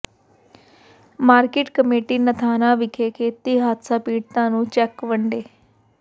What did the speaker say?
market committee Nathana ਵਿਖੇ ਖੇਤੀ ਹਾਦਸਾ ਪੀੜਤਾਂ ਨੂੰ ਚੈੱਕ ਵੰਡੇ